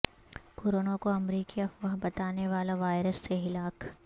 corona کو امریکی افواہ بتانے والا وائرس سے ہلاک